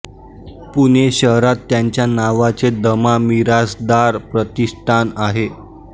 पुणे शहरात त्यांच्या नावाचे द मा मिरासदार प्रतिष्ठान आहे